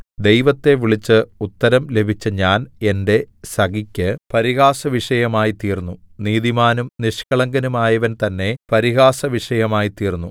ദൈവത്തെ വിളിച്ച് ഉത്തരം ലഭിച്ച ഞാൻ എന്റെ സഖിയ്ക്ക് പരിഹാസവിഷയമായിത്തീർന്നു നീതിമാനും നിഷ്കളങ്കനുമായവൻ തന്നെ പരിഹാസവിഷയമായിത്തീർന്നു